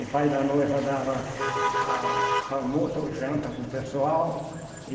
O pai da noiva dava a almoço ou janta para o pessoal.